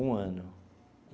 Um ano.